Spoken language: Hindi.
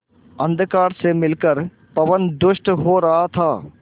अंधकार से मिलकर पवन दुष्ट हो रहा था